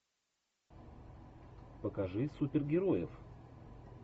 покажи супергероев